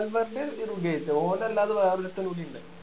വാൽവർൻ്റെ ഓൻ അല്ലാതെ വേറൊരുത്തൻ കൂടിയുണ്ട്